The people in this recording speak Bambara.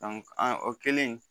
o kɛlen